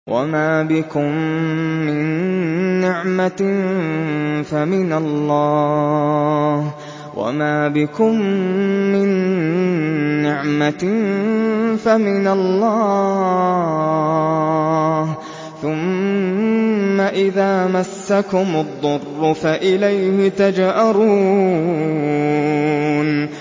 وَمَا بِكُم مِّن نِّعْمَةٍ فَمِنَ اللَّهِ ۖ ثُمَّ إِذَا مَسَّكُمُ الضُّرُّ فَإِلَيْهِ تَجْأَرُونَ